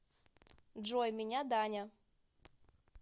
джой меня даня